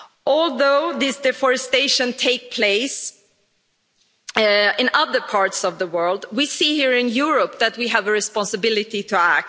Although this deforestation takes place in other parts of the world, we see here in Europe that we have a responsibility to act.